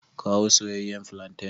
Kawo soyeyyen flantain.